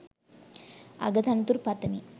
අග තනතුරු පතමි.